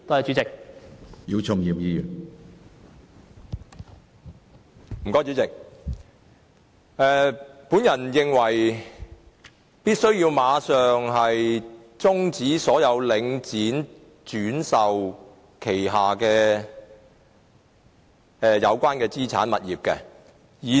主席，我認為必須馬上終止領展房地產投資信託基金旗下有關資產物業的所有轉售。